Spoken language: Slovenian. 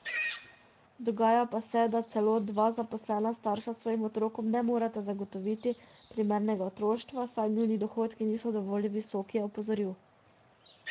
Dogaja pa se, da celo dva zaposlena starša svojim otrokom ne moreta zagotoviti primernega otroštva, saj njuni dohodki niso dovolj visoki, je opozoril.